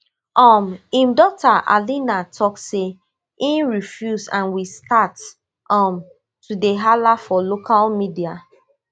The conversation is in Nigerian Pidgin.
um im daughter alina tok say e refuse and we start um to dey hala for local media